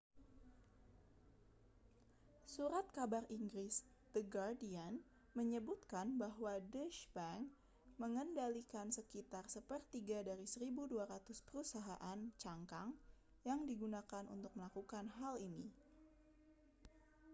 surat kabar inggris the guardian menyebutkan bahwa deutsche bank mengendalikan sekitar sepertiga dari 1.200 perusahaan cangkang yang digunakan untuk melakukan hal ini